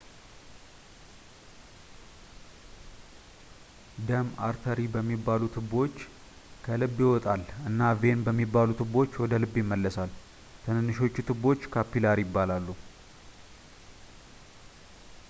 ደም አርተሪ በሚባሉ ትቦዎች ከልብ ይወጣል እና ቬን በሚባሉ ትቦዎች ወደ ልብ ይመለሳል ትንንሾቹ ትቦዎች ካፒላሪ ይባላሉ